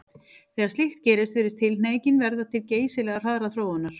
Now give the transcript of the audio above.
Þegar slíkt gerist virðist tilhneigingin verða til geysilega hraðrar þróunar.